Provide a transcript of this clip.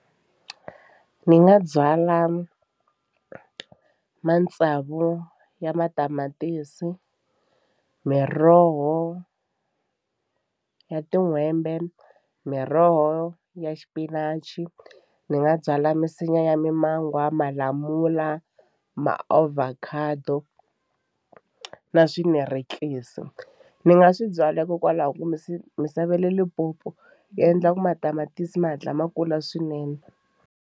Ni nga byala matsavu ya matamatisi, miroho ya tin'hwembe, miroho ya xipinachi ni nga byala misinya ya mimangwa, malamula, maovhakhado na swinarekisi ni nga swi byala hikokwalaho ka ku misava ya le Limpopo yi endla ku matamatisi ma hatla ma kula swinene.